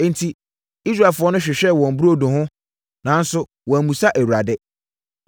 Enti, Israelfoɔ no hwehwɛɛ wɔn burodo no ho nanso wɔammisa Awurade.